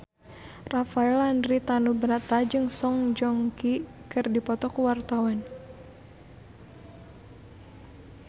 Rafael Landry Tanubrata jeung Song Joong Ki keur dipoto ku wartawan